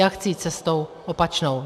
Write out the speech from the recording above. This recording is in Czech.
Já chci jít cestou opačnou.